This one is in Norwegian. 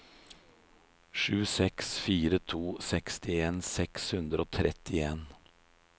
sju seks fire to sekstien seks hundre og trettien